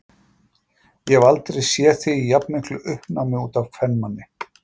Ég hef aldrei séð þig í jafnmiklu uppnámi út af kvenmanni.